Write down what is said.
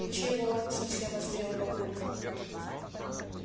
и чего совсем озверел папулька